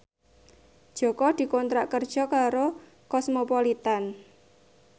Jaka dikontrak kerja karo Cosmopolitan